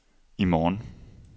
i morgen